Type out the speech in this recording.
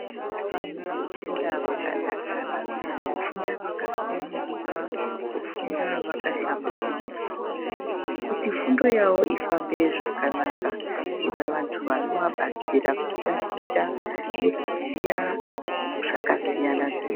Vanhu vanofanire kufunda vakadakara. Kufunda vakasununguka. Kufunda vakahlamburika. Kuti fundo yavo ifambe zvakanaka. Kuda vantu vanovabatsire kutaticha nekuziya zvakasiyana siyana.